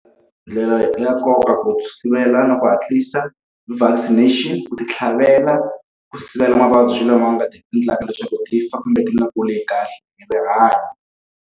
Ndlela ya nkoka ku sivela na ku hatlisa vaccination ku ti tlhavela, ku sivela mavabyi lama endlaka leswaku ti fa kumbe ti nga kuli kahle hi rihanyo.